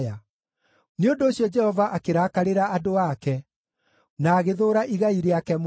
Nĩ ũndũ ũcio Jehova akĩrakarĩra andũ ake, na agĩthũũra igai rĩake mũno.